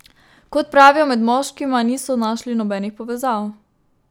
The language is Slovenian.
Kot pravijo, med moškima niso našli nobenih povezav.